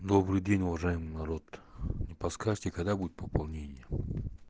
добрый день уважаемый народ не подскажите когда будет пополнение